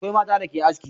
Akwai mata da suke aski.